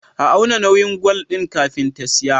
A auna nauyin gwal din kafin ta siya